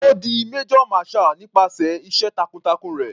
Ó di major marshall nípasẹ̀ iṣẹ́ takun-takun rẹ̀.